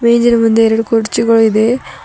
ಮೇಜಿನ ಮುಂದೆ ಎರಡು ಕುರ್ಚಿ ಗಳು ಇದೆ.